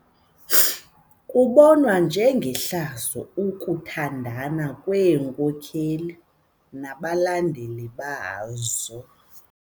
Kubonwa njengehlazo ukuthandana kweenkokeli nabalandeli bazo.